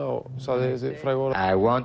og sagði þessi frægu orð